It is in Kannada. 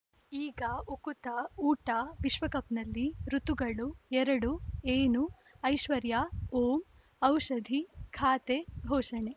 ಈಗ ಉಕುತ ಊಟ ವಿಶ್ವಕಪ್‌ನಲ್ಲಿ ಋತುಗಳು ಎರಡು ಏನು ಐಶ್ವರ್ಯಾ ಓಂ ಔಷಧಿ ಖಾತೆ ಘೋಷಣೆ